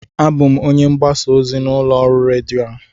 Abụ m onye mgbasa ozi n'ụlọ ọrụ redio a